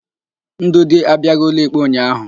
Ndụdị abiaghị ụlọikpe ụnyaahụ.